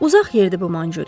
Uzaq yerdir bu Manchuriya.